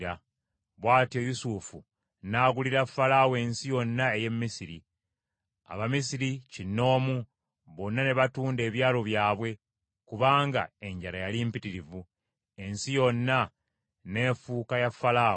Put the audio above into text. Bw’atyo Yusufu n’agulira Falaawo ensi yonna ey’e Misiri. Abamisiri kinoomu, bonna ne batunda ebyalo byabwe kubanga enjala yali mpitirivu, ensi yonna n’efuuka ya Falaawo.